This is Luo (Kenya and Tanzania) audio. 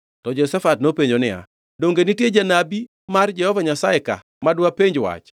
To Jehoshafat nopenjo niya, “Donge nitie janabi mar Jehova Nyasaye ka ma dwapenj wach?”